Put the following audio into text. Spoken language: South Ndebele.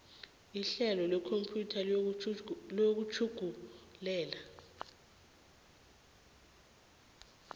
ihlelo lekhompyutha lokutjhugululela